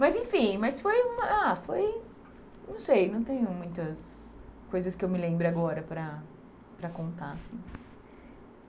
Mas enfim, mas foi uma ah... foi... não sei, não tenho muitas coisas que eu me lembre agora para para contar, assim.